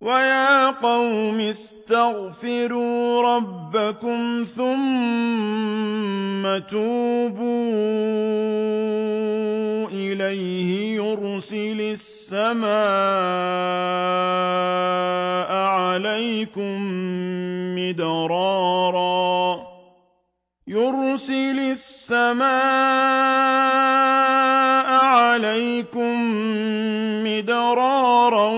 وَيَا قَوْمِ اسْتَغْفِرُوا رَبَّكُمْ ثُمَّ تُوبُوا إِلَيْهِ يُرْسِلِ السَّمَاءَ عَلَيْكُم مِّدْرَارًا